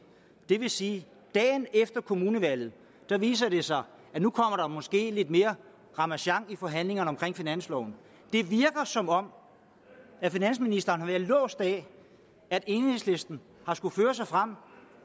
det vil sige at dagen efter kommunevalget viser det sig at nu kommer der måske lidt mere ramasjang i forhandlingerne om finansloven det virker som om finansministeren har været låst af at enhedslisten har skullet føre sig frem